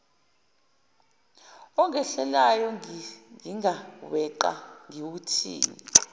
ongehlelayo ngingaweqa ngiwuthini